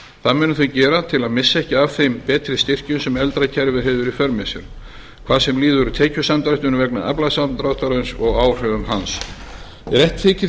það munu þau gera til að missa ekki af þeim betri styrkjum sem eldra kerfið hefur í för með sér hvað sem líður tekjusamdrættinum vegna aflasamdráttarins og áhrifum hans ef rétt þykir